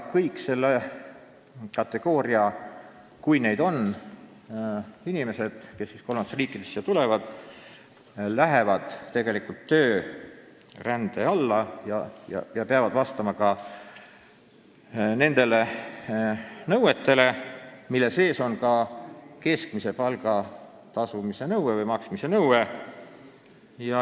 Kõik selle kategooria inimesed, kes kolmandatest riikidest siia tulevad – kui neid on –, lähevad tegelikult töörände alla ja peavad vastama nõuetele, mille sees on ka keskmise palga maksmise nõue.